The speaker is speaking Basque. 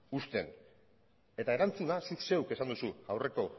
uzten eta erantzuna zuk zeuk esan duzu aurreko